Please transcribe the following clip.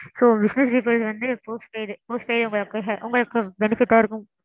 so business people வந்து postpaid postpaid உங்களுக்கு உங்களுக்கு benefit ஆ இருக்கும்.